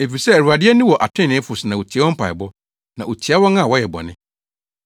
Efisɛ Awurade ani wɔ atreneefo so na otie wɔn mpaebɔ na otia wɔn a wɔyɛ bɔne.”